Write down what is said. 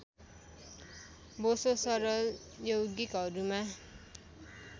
बोसो सरल यौगिकहरूमा